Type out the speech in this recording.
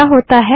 क्या होता है